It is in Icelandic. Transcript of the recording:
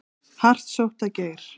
Hart sótt að Geir